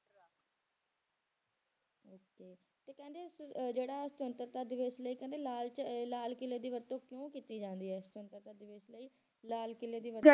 ਤੇ ਕਹਿੰਦੇ ਕਿ ਜਿਹੜਾ ਸੁਤੰਤਰਤਾ ਦਿਵਸ ਲਈ ਕਹਿੰਦੇ ਲਾਲ 'ਚ ਲਾਲ ਕਿਲੇ ਦੀ ਵਰਤੋਂ ਕਿਉਂ ਕੀਤੀ ਜਾਂਦੀ ਹੈ ਸੁਤੰਤਰਤਾ ਦਿਵਸ ਲਈ ਲਾਲ ਕਿਲੇ ਦੀ ਵਰਤੋਂ